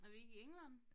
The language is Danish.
Er vi ikke i England?